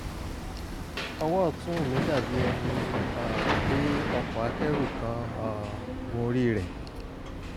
owo otun mi dabi eni um pe oko akeru kan um gori re